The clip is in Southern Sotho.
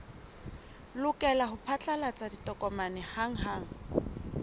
lokela ho phatlalatsa ditokomane hanghang